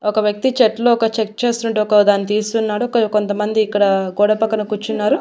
ఒక వ్యక్తి చెట్లు ఒక చెక్ చేస్తున్నట్టు ఒక దాన్ని తీస్తున్నాడు కొంతమంది ఇక్కడ గోడ పక్కన కూర్చున్నారు.